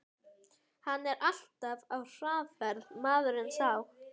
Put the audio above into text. Hann er alltaf á hraðferð, maðurinn sá.